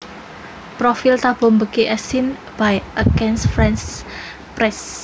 Profile Thabo Mbeki as seen by Agence France Presse